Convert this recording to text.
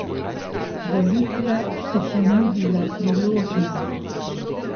Volitve so ponudile priložnost.